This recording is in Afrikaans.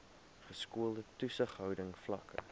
geskoolde toesighouding vlakke